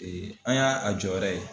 an ya a jɔyɔrɔ ye.